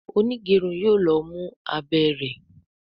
onigerun yóò ló mú abé rẹ.